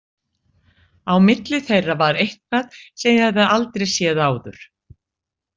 Á milli þeirra var eitthvað sem ég hafði aldrei séð áður.